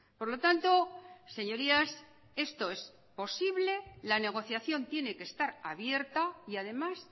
por lo tanto señorías esto es posible la negociación tiene que estar abierta y además